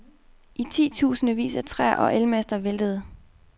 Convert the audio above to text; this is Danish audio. I titusindevis af træer og elmaster væltede.